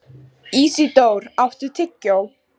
Ísidór, áttu tyggjó?